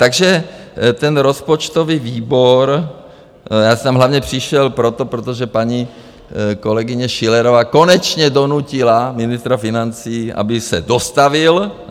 Takže ten rozpočtový výbor - já jsem hlavně přišel proto, protože paní kolegyně Schillerová konečně donutila ministra financí, aby se dostavil.